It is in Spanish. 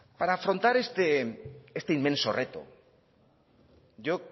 para afrontar este inmenso reto yo